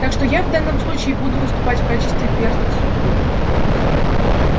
так что я в данном случае буду выступать в качестве перста судьбы